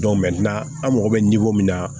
an mago bɛ min na